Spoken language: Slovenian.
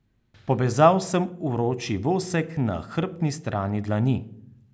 Pobezal sem vroči vosek na hrbtni strani dlani.